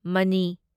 money